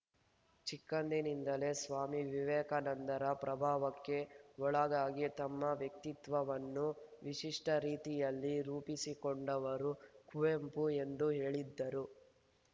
ಚಿಕ್ಕಂದಿನಿಂದಲೇ ಸ್ವಾಮಿ ವಿವೇಕಾನಂದರ ಪ್ರಭಾವಕ್ಕೆ ಒಳಗಾಗಿ ತಮ್ಮ ವ್ಯಕ್ತಿತ್ವವನ್ನು ವಿಶಿಷ್ಟರೀತಿಯಲ್ಲಿ ರೂಪಿಸಿಕೊಂಡವರು ಕುವೆಂಪು ಎಂದು ಹೇಳಿದರು